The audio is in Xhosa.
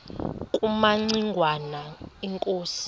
kumaci ngwana inkosi